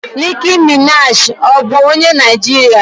Nicki Minaji ọ bụ onye Naijiria?